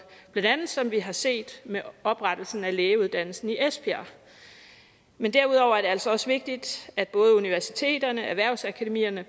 blandt andet som vi har set med oprettelsen af lægeuddannelsen i esbjerg men derudover er det altså også vigtigt at både universiteterne erhvervsakademierne